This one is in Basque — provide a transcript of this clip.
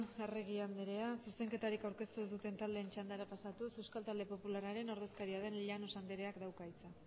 arregi anderea zuzenketarik aurkeztu ez duten taldeen txandara pasatuz euskal talde popularraren ordezkaria den llanos andereak dauka hitza